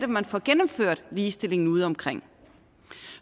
man får gennemført ligestillingen udeomkring